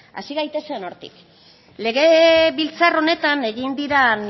hasi gaitezen hortik legebiltzar honetan egin diren